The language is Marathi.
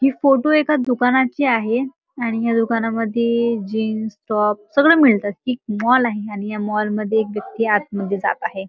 हि फोटो एका दुकानाची आहे आणि या दुकानामधे ए जीन्स टॉप सगळं मिळतं. हि मॉल आहे आणि या मॉल मध्ये एक व्यक्ती आतमध्ये जात आहे.